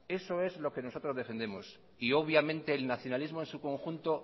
eso es lo que nosotros defendemos y obviamente el nacionalismo en su conjunto